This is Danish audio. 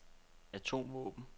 atomvåben